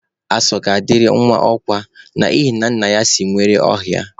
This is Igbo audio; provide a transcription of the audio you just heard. Asọ ga-adịrị nwa ọkwa n'ihina nna ya si nwere ọhịa